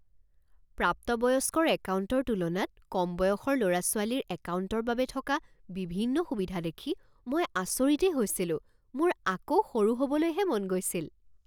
প্ৰাপ্তবয়স্কৰ একাউণ্টৰ তুলনাত কম বয়সৰ ল'ৰা ছোৱালীৰ একাউণ্টৰ বাবে থকা বিভিন্ন সুবিধা দেখি মই আচৰিতেই হৈছিলোঁ। মোৰ আকৌ সৰু হ'বলৈহে মন গৈছিল।